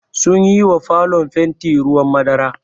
Sunyi wa falon fanti ruwan madara.